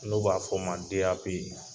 N'o b'a fɔ a ma DAP.